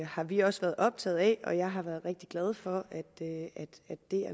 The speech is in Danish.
har vi også været optaget af og jeg har været rigtig glad for at